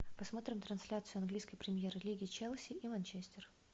посмотрим трансляцию английской премьер лиги челси и манчестер